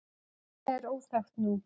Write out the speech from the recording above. nafnið er óþekkt nú